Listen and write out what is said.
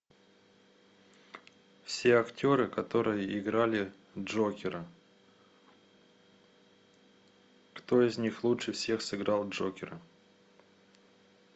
все актеры которые играли джокера кто из них лучше всех сыграл джокера